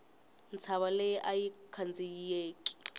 ntshava leyi ayi khandziyeki